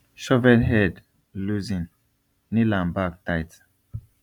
shovel head loosen nail am back tight